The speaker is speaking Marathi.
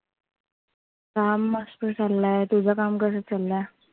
काम मस्त चालय. तुझ काम कसं चालय?